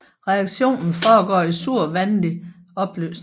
Reaktionen foregår i sur vandig opløsning